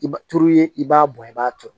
I b'a turu i b'a bɔn i b'a turu